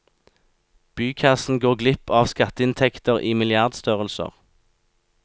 Bykassen går glipp av skatteinntekter i milliardstørrelser.